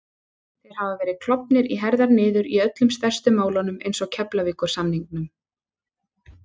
Þeir hafa verið klofnir í herðar niður í öllum stærstu málunum eins og Keflavíkursamningnum